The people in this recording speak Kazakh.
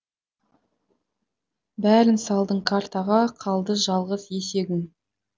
бәрін салдың картаға қалды жалғыз есегің